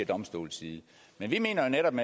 domstolenes side men vi mener jo netop